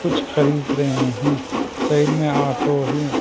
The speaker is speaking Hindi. कुछ खरीद रहे हैं साइड में ऑटो है।